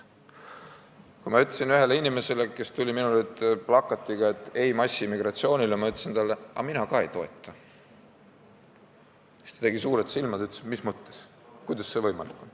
Kui ma ütlesin ühele inimesele, kes tuli minu juurde plakatiga "Ei massiimmigratsioonile!", et mina ka ei toeta seda, siis ta tegi suured silmad ja ütles, et mis mõttes, kuidas see võimalik on.